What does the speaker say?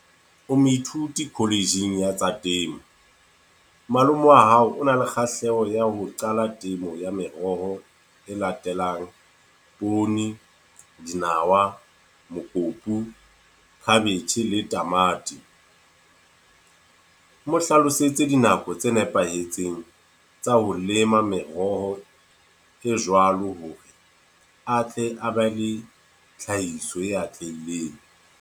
O moithuti college-ng ya tsa temo. Malome wa hao o na le kgahleho ya ho qala temo ya meroho e latelang, poone, dinawa, mokopu, cabbage le tamati. Mo hlalosetse dinako tse nepahetseng tsa ho lema meroho e jwalo, hore atle a be le tlhahiso e atlehileng.